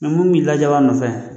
Mɛ mun b'i lajaban a nɔfɛ.